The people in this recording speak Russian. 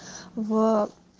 в